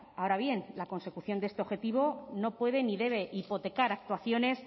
ahora bien la consecución de este objetivo no puede ni debe hipotecar actuaciones